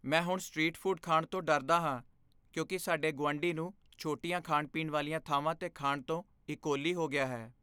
ਮੈਂ ਹੁਣ street food ਖਾਣ ਤੋਂ ਡਰਦਾ ਹਾਂ ਕਿਉਂਕਿ ਸਾਡੇ ਗੁਆਂਢੀ ਨੂੰ ਛੋਟੀਆਂ ਖਾਣ ਪੀਣ ਵਾਲੀਆਂ ਥਾਵਾਂ 'ਤੇ ਖਾਣ ਤੋਂ ਈਕੋਲੀ ਹੋ ਗਿਆ ਹੈ